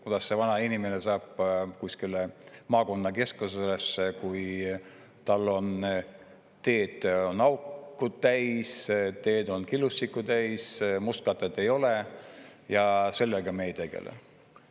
Kuidas see vanainimene saab kuskile maakonnakeskusesse, kui tal on teed auke täis, teed on killustikku täis, mustkatet ei ole ja sellega me ei tegele.